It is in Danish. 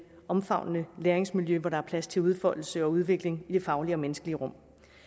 omfavnende læringsmiljø hvor der er plads til udfoldelse og udvikling i det faglige og menneskelige rum